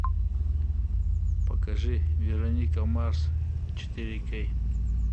покажи вероника марс четыре кей